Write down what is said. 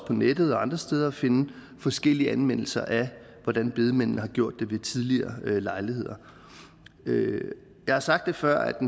på nettet og andre steder at finde forskellige anmeldelser af hvordan bedemændene har gjort det ved tidligere lejligheder jeg har sagt før at